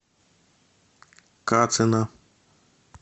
кацина